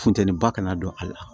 Funteni ba kana don a la